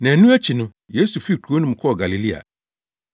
Nnaanu akyi no, Yesu fii kurow no mu kɔɔ Galilea.